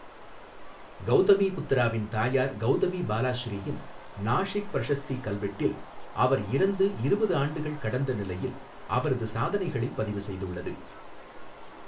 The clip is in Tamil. கௌதமீபுத்திராவின் தாயார் கௌதமி பாலாஸ்ரீயின் நாஷிக் பிரஷஸ்தி கல்வெட்டில் அவர் இறந்து இருபது ஆண்டுகள் கடந்த நிலையில் அவரது சாதனைகளைப் பதிவு செய்துள்ளது.